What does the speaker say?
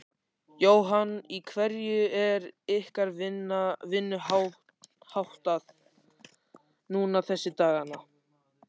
Jóhann: Í hverju er ykkar vinnu háttað núna þessa dagana?